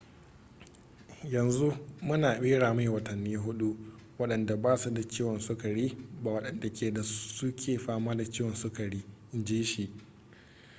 yanzu muna bera mai watanni 4 wadanda ba su da ciwon sukari ba wadanda ke da suke fama da ciwon sukari in ji shi